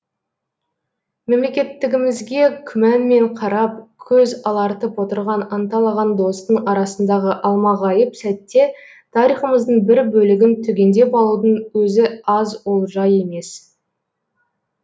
мемлекеттігімізге күманмен қарап көз алартып отырған анталаған достың арасындағы алмағайып сәтте тарихымыздың бір бөлігін түгендеп алудың өзі аз олжа емес